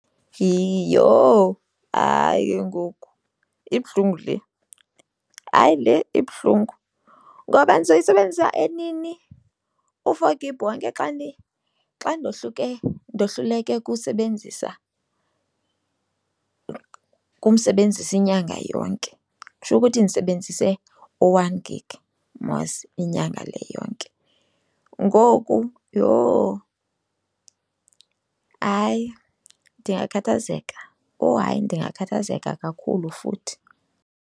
Iyho! Hayi ke ngoku ibuhlungu le. Hayi, le ibuhlungu ngoba ndizoyisebenzisa enini u-four gig wonke xa xa ndohluleke kusebenzisa kumsebenzisa inyanga yonke? Kutsho ukuthi ndisebenzise u-one gig mos inyanga le yonke, ngoku yho, hayi ndingakhathazeka. Oh hayi, ndingakhathazeka kakhulu futhi.